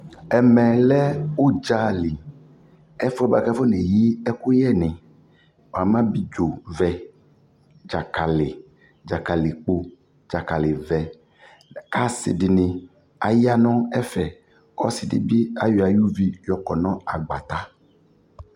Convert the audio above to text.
Ɛmɛ lɛ udza lι, ɛfuɛ bua kʋ afɔneyi ɛkʋyɛ nι Namʋ abidzo vɛ, dzakali, dzakalikpo, dzakali vɛ kʋasidι nι aya nʋ ɛfɛ Ɔsidι bι ayɔ ayʋ uvi yɔkɔ nʋ agbata